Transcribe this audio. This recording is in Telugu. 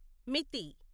మితి